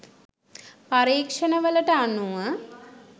පරීක්ෂණ වලට අනුව